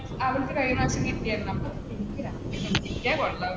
അവൾക്ക് കഴിഞ്ഞ പ്രാവശ്യം കിട്ടി ആയിരുന്നു അപ്പ, എനിക്കും ഒരു ആഗ്രഹം കിട്ടിയാൽ കൊള്ളാമെന്ന്